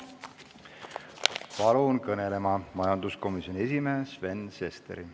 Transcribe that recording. Palun kõnelema majanduskomisjoni esimehe Sven Sesteri!